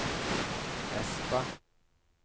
Espa